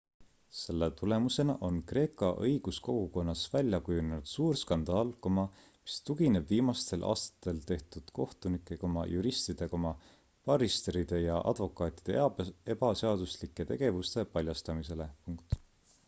selle tulemusena on kreeka õiguskogukonnas välja kujunenud suur skandaal mis tugineb viimastel aastatel tehtud kohtunike juristide barristeride ja advokaatide ebaseaduslike tegevuste paljastamisele